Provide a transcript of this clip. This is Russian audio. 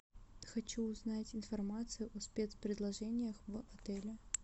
хочу узнать информацию о спец предложениях в отеле